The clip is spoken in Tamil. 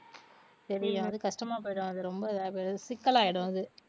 சரி எதாவது கஷ்டமா போயிடும் அது ரொம்ப சிக்கலாயிடும்